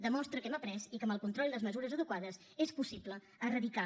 demostra que hem après i que amb el control i les mesures adequades és possible erradicar